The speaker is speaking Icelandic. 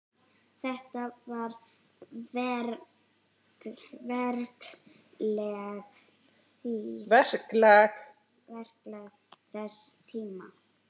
Þetta var verklag þess tíma.